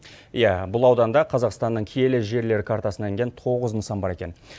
иә бұл ауданда қазақстанның киелі жерлері картасына енген тоғыз нысан бар екен